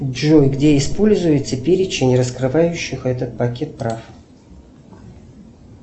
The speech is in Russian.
джой где используется перечень раскрывающих этот пакет прав